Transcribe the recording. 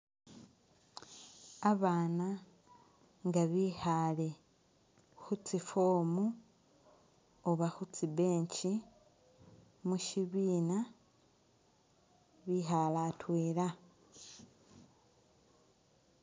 Abana nga bikhale khutsi foam oba khutsi bench mushibina bikhale atwela.